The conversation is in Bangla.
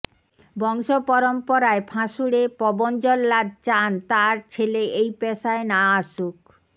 বংশপরম্পরায় ফাঁসুড়ে পবন জল্লাদ চান তাঁর ছেলে এই পেশায় না আসুক